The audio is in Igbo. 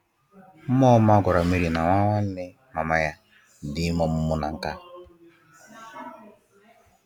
Mmụọ ọma a gwara Mary na nwa nwanne mama ya dị ime ọmụmụ na nkâ.